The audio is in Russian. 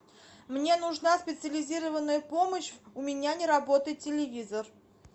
мне нужна специализированная помощь у меня не работает телевизор